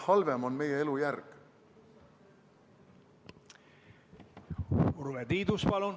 Urve Tiidus, palun!